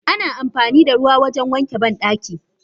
Ana amfanida ruwa wajen wanke bandaki.